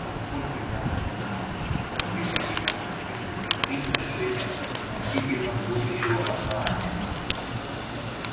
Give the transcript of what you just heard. насколько я понимаю мой великий господин уже принял решение относительно будущего основания